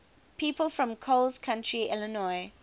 people from coles county illinois